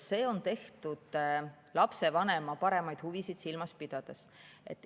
See on tehtud lapsevanema paremaid huvisid silmas pidades.